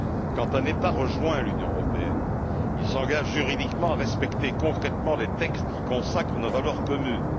Quand un État rejoint l'Union européenne, il s'engage juridiquement à respecter concrètement les textes qui consacrent nos valeurs communes.